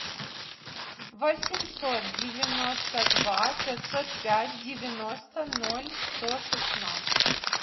восемьсот девяносто два пятьсот пять девяносто ноль сто шестнадцать